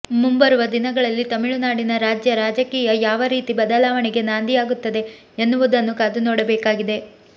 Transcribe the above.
ಮುಂಬರುವ ದಿನಗಳಲ್ಲಿ ತಮಿಳುನಾಡಿನ ರಾಜ್ಯ ರಾಜಕೀಯ ಯಾವ ರೀತಿ ಬದಲಾವಣೆಗೆ ನಾಂದಿಯಾಗುತ್ತದೆ ಎನ್ನುವುದನ್ನು ಕಾದು ನೋಡಬೇಕಾಗಿದೆ